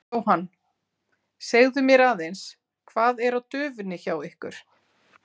Jóhann: Segðu mér aðeins, hvað er á döfinni hjá ykkur?